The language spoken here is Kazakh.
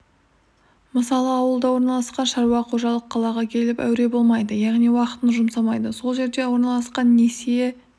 мысалы ауылда орналасқан шаруа қожалық қалаға келіп әуре болмайды яғни уақытын жұмсамайды сол жерде орналасқан несие